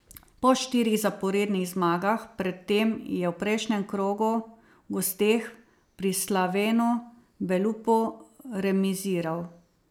Po štirih zaporednih zmagah pred tem je v prejšnjem krogu v gosteh pri Slavenu Belupu remiziral.